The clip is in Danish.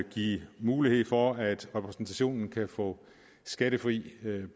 give mulighed for at repræsentationen kan få skattefrie